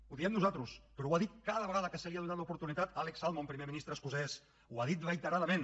ho diem nosaltres però ho ha dit cada vegada que se li n’ha donat l’oportunitat alex salmond primer ministre escocès ho ha dit reiteradament